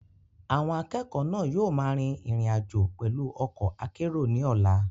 Àwọn akẹ́kọ̀ọ́ náà yóò máa rin ìrìn àjò pẹ̀lú ọkọ̀ akérò ní ọ̀la.